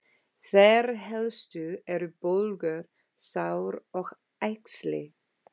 Þeir helstu eru bólgur, sár og æxli.